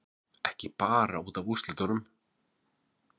Ekki bara út af úrslitunum